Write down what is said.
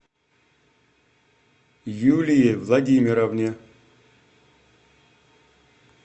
юлии владимировне